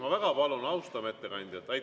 Ma väga palun, austame ettekandjat!